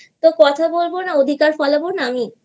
তো কথা বলবো না অধিকার ফলাবো না আমি?